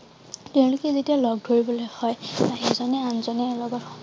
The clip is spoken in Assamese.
তেওঁলোকে যেতিয়া লগ ধৰিবলে হয় বা সিজনে আনজনে